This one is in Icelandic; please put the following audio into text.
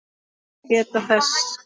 má geta þess